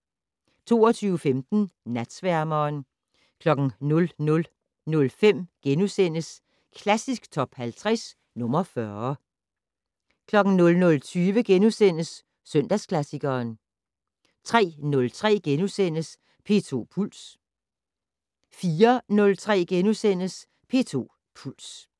22:15: Natsværmeren 00:05: Klassisk Top 50 - nr. 40 * 00:20: Søndagsklassikeren * 03:03: P2 Puls * 04:03: P2 Puls *